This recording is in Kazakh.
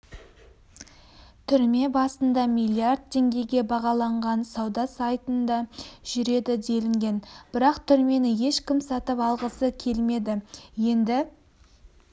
түрме басында миллиард теңгеге бағаланған сауда сайтында жүреді делінген бірақ түрмені ешкім сатып алғысы келмеді енді